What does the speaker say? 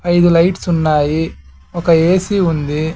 ఐదు లైట్స్ ఉన్నాయి ఒక ఏ సి ఉంది.